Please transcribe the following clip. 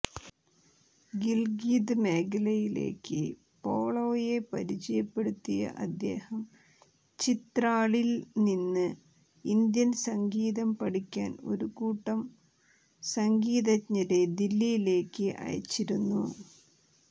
ഗിൽഗിത് മേഖലയിലേക്ക് പോളോയെ പരിചയപ്പെടുത്തിയ അദ്ദേഹം ചിത്രാളിൽ നിന്ന് ഇന്ത്യൻ സംഗീതം പഠിക്കാൻ ഒരു കൂട്ടം സംഗീതജ്ഞരെ ദില്ലിയിലേക്ക് അയച്ചിരുന്നു